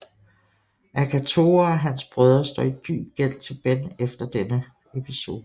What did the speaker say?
Akatora og hans brødre står i dyb gæld til Ben efter denne episode